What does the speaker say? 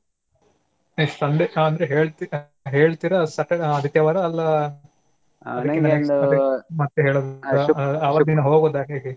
Next Sunday ಅಂದ್ರೆ ಹೇಳ್ತೀರಾ Saturday ಆದಿತ್ಯವಾರ ಅಲ್ಲಾಮತ್ತೆ ಅವತ್ತಿದೀನ ಹೋಗೋದ ಹೇಗೆ?